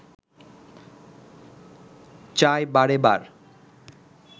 চাই বারেবার